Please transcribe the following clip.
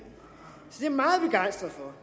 jeg meget begejstret for